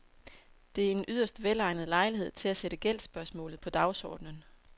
Det er en yderst velegnet lejlighed til at sætte gældsspørgsmålet på dagsordenen.